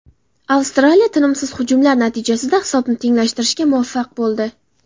Avstraliya tinimsiz hujumlar natijasida hisobni tenglashtirishga muvaffaq bo‘ldi.